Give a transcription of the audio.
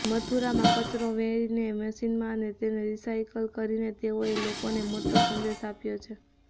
મથુરામાં કચરો વેણીને મશીનમાં તેને રિસાયકલ કરીને તેઓએ લોકોને મોટો સંદેશ આપ્યો છે